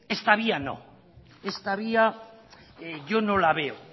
esta vía no esta vía yo no la veo